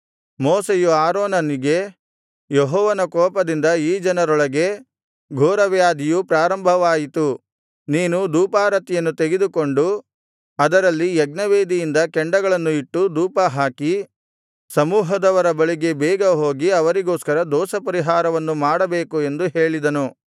ಮೋಶೆಯು ಆರೋನನಿಗೆ ಯೆಹೋವನ ಕೋಪದಿಂದ ಈ ಜನರೊಳಗೆ ಘೋರವ್ಯಾಧಿಯು ಪ್ರಾರಂಭವಾಯಿತು ನೀನು ಧೂಪಾರತಿಯನ್ನು ತೆಗೆದುಕೊಂಡು ಅದರಲ್ಲಿ ಯಜ್ಞವೇದಿಯಿಂದ ಕೆಂಡಗಳನ್ನು ಇಟ್ಟು ಧೂಪಹಾಕಿ ಸಮೂಹದವರ ಬಳಿಗೆ ಬೇಗ ಹೋಗಿ ಅವರಿಗೋಸ್ಕರ ದೋಷಪರಿಹಾರವನ್ನು ಮಾಡಬೇಕು ಎಂದು ಹೇಳಿದನು